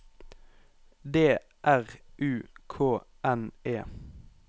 D R U K N E